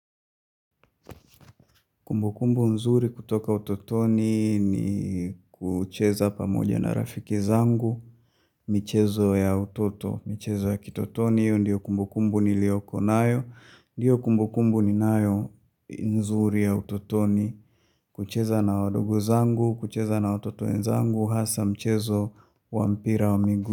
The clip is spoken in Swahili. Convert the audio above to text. Kumbukumbu nzuri kutoka utotoni ni kucheza pamoja na rafiki zangu, michezo ya utoto, michezo ya kitotoni. Ndiyo kumbukumbu nilioko nayo, ndiyo kumbukumbu ni nayo nzuri ya utotoni, kucheza na wadogo zangu, kucheza na watoto wenzangu, hasa mchezo wampira wa miguu.